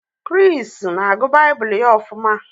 Chris na-agụ Baịbụl ya ofuma